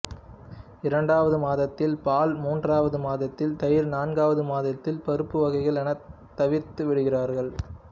இரண்டாவது மாதத்தில் பால் மூன்றாவது மாதத்தில் தயிர் நான்காவது மாதத்தில் பருப்பு வகைகள் என தவிர்த்துவிடுகிறார்கள்